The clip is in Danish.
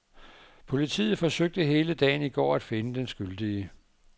Politiet forsøgte hele dagen i går at finde den skyldige.